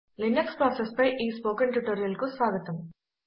Linux processes పై ఈ spoken ట్యుటోరియల్కు స్వాగతం